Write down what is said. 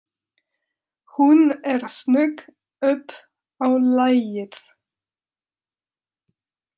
Hún er snögg upp á lagið.